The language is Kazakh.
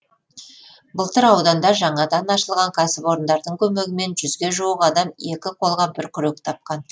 былтыр ауданда жаңадан ашылған кәсіпорындардың көмегімен жүзге жуық адам екі қолға бір күрек тапқан